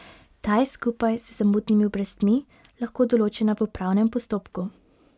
Ta je skupaj z zamudnimi obrestmi lahko določena v upravnem postopku.